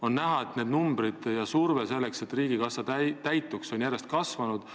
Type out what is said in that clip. On näha, et need numbrid ja surve, selleks et riigikassa täituks, on järjest kasvanud.